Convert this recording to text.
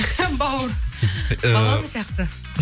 бауыр балам сияқты